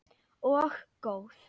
Og góð.